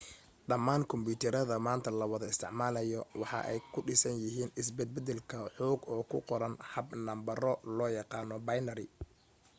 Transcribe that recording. dhammaan kumbiyuutarada maanta lawada isticmaalo waxa ay ku dhisan yihiin isbed-bedelka xog oo ku qoran hab nambaro loo yaqaana binary